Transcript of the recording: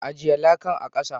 Ajie lakan a'kasa.